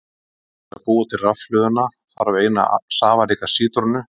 Til þess að búa til rafhlöðuna þarf eina safaríka sítrónu.